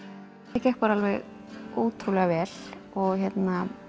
það gekk bara alveg ótrúlega vel og hérna